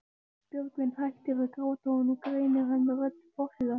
Björgvin hættir að gráta og nú greinir hann rödd forsetans.